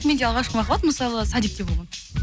менде алғашқы махаббат мысалы садикте болған